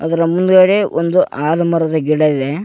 ಅದರ ಮುಂದುಗಡೆ ಒಂದು ಹಾಲು ಮರದ ಗಿಡ ಇದೆ.